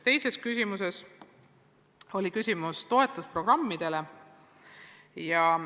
Oli ka küsimus toetusprogrammide kohta.